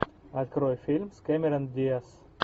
открой фильм с кэмерон диаз